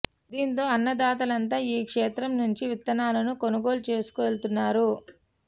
దీంతో అన్న దాతలంతా ఈ క్షేత్రం నుంచే విత్తనాలను కొనుగోలు చేసుకు వెళ్తున్నారు